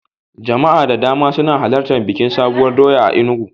Jama'a da dama suna halartan bikin Sabuwar doya a Enugu.